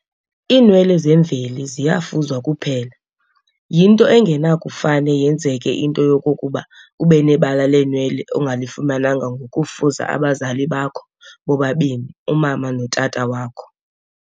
Iinwele zemveli ziyafuzwa kuphela. yinto engenakufane yenzeke into yokokuba ubenebala leenwele ongalifumananga ngokufuza abazali bakho bobabini umama notata wakho.